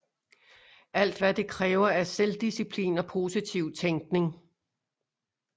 Alt hvad det kræver er selvdisciplin og positiv tænkning